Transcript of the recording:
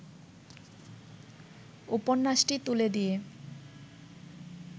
উপন্যাসটি তুলে দিয়ে